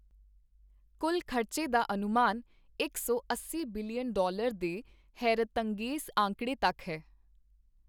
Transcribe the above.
ਕੁੱਲ ਖ਼ਰਚੇ ਦਾ ਅਨੁਮਾਨ ਇਕ ਸੌ ਅੱਸੀ ਬਿਲੀਅਨ ਡਾਲਰ ਦੇ ਹੈਰਤਅੰਗੇਜ਼ ਆਂਕੜੇ ਤੱਕ ਹੈ।